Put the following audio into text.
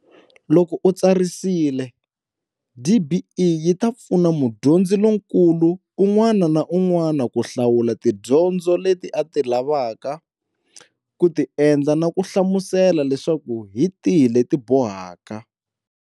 Loko u tsarisile, DBE yi ta pfuna mudyondzi lonkulu un'wana na un'wana ku hlawula tidyondzo leti a ti lavaka ku ti endla na kuhlamusela leswaku hi tihi leti bohaka.